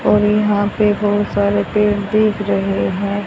और यहां पे बहुत सारे पेड़ दीख रहे हैं।